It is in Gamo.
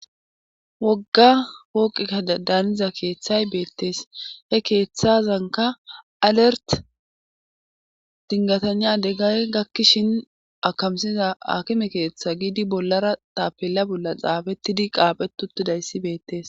wogga wooqikka daaniza keeththay beettees he keeththazanka alert dingatanya deggay gakkishin akamsiza akime keeththa giidi bollara tapella bolla xaafettidi qaaphetutidayssi beettees